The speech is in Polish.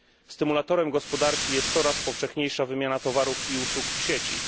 Stymulatorem gospodarki jest coraz powszechniejsza wymiana towarów i usług w sieci.